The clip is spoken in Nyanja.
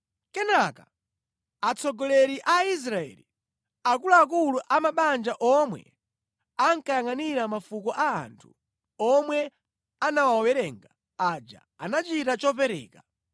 Kenaka atsogoleri a Aisraeli, akuluakulu a mabanja omwe ankayangʼanira mafuko a anthu omwe anawawerenga aja, anachita chopereka.